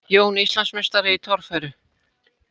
Jón Íslandsmeistari í torfæru